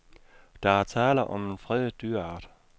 Der er tale om en fredet dyreart.